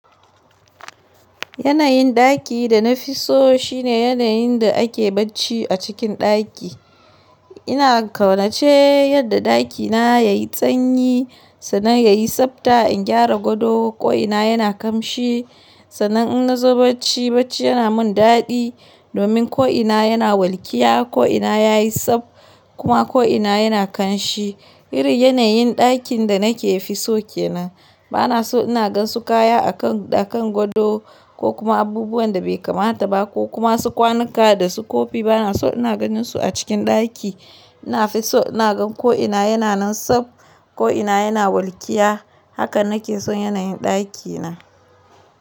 Yanayin ɗaki da na fi so shine yanayin da ake bacci a cikin ɗaki. Ina kaunace yadda dakina yayi sanyi sannan yayi tsabta, in gyara gado, ko'ina yana kamshi. Sannan in na zo bacci bacci yana mun daɗi domin ko'ina yana walƙiya, ko'ina yayi tsab kuma ko'ina yana kanshi. Irin yanayin ɗakin da nake fi so ke nan. Ba na so ina gan su kaya a kan, a kan gado ko kuma abubuwan da bai kamata ba ko kuma su kwanuka da su kofi. Ba na so ina ganin su a cikin ɗaki. Ina fi so ina gan ko'ina yana nan tsab, ko'ina yana walƙiya. Haka nake son yanayin ɗakina.